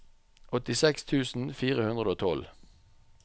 åttiseks tusen fire hundre og tolv